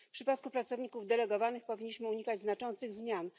W przypadku pracowników delegowanych powinniśmy unikać znaczących zmian.